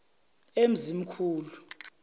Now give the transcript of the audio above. emzimkhulu